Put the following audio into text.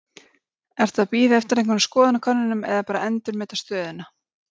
Ertu að bíða eftir einhverjum skoðanakönnunum eða bara endurmeta stöðuna?